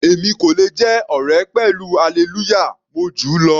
Èmi kò le jẹ́ ọ̀rẹ́ pẹ̀lú Hallelujah, mo júù lọ.